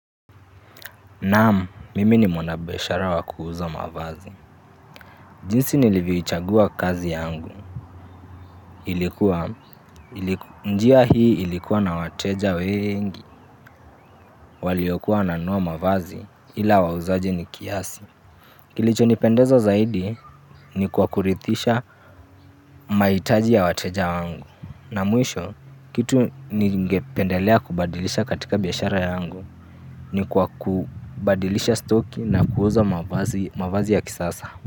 Naam, mimi ni mwana biashara wa kuuza mavazi. Jinsi nilivyoichagua kazi yangu. Ilikuwa, ili njia hii ilikuwa na wateja wengi. Waliokuwa wananua mavazi ila wauzaji ni kiasi. Kilichonipendeza zaidi ni kwa kuridhisha mahitaji ya wateja wangu. Na mwisho, kitu ningependelea kubadilisha katika biashara yangu ni kwa kubadilisha stoki na kuuza mavazi mavazi ya kisasa.